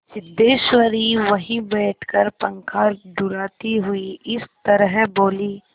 सिद्धेश्वरी वहीं बैठकर पंखा डुलाती हुई इस तरह बोली